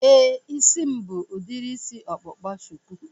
Éè, isi m bụ udiri isi ọkpụkpa shuku